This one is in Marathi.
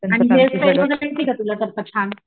आणि हेअर स्टाईल येति का तुला करता छान.